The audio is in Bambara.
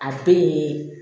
A bɛ